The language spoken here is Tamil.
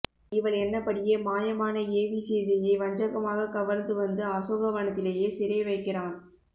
இவள் எண்ணப்படியே மாய மானை ஏவி சீதையை வஞ்சக மாகக் கவர்ந்து வந்து அசோகவனத்திலே சிறை வைக்கிறான்